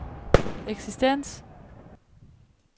eksistens